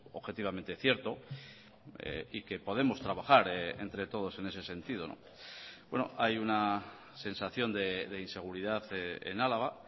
objetivamente cierto y que podemos trabajar entre todos en ese sentido hay una sensación de inseguridad en álava